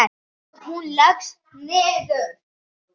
Og hún leggst niður.